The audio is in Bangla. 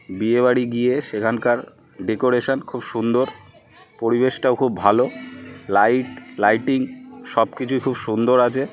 বিয়ে বাড়ি গিয়ে সেখানকার ডেকোরেশন খুব সুন্দর। পরিবেশটাও খুব ভালো। লাইট লাইটিং সবকিছুই খুব সুন্দর আছে।